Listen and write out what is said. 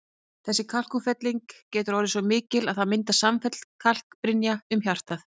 Þessi kalkútfelling getur orðið svo mikil að það myndist samfelld kalkbrynja um hjartað.